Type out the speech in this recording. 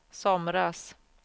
somras